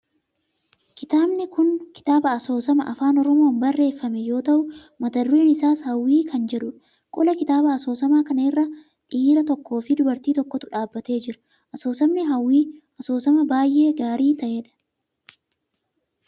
Kitaabni kun kitaaba asoosama afaan oromoon barreeffame yoo ta'u mata dureen isaa hawwii kan jedhudha. qola kitaaba asoosama kana irra dhiira tokkoo fi dubartii takkatu dhaabbatee jira. asoosamni hawwii asoosama baayyee gaarii ta'edha.